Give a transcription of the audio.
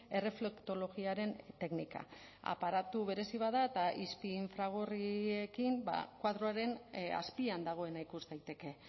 erreflektologiaren teknika aparatu berezi bat da eta izpi infragorriekin koadroaren azpian dagoena ikus daiteke